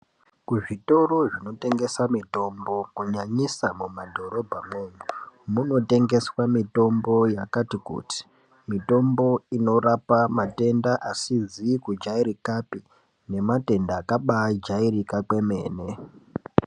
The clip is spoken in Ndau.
Ku zvitoro zvino tengesa mitombo ku nyanyisa muma dhorobha mwo umu muno tengeswa mitombo yakati kuti mitombo inorapa matenda asizi kujairikapi nema tenda akabai jairika kwemene.